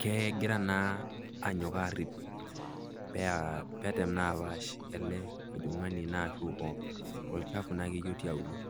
kegira naa aarip pear, pee etem naa apaash ele ojong'ani naa ashu olchafu naa otii aulo.